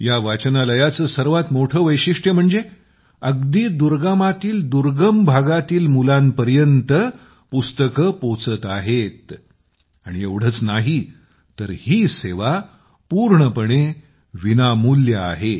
या वाचनालयाचे सर्वात मोठे वैशिष्ट्य म्हणजे अगदी दुर्गमातील दुर्गम भागातील मुलांपर्यंत पुस्तके पोहोचत आहेत आणि एवढेच नाही तर ही सेवा पूर्णपणे विनामूल्य आहे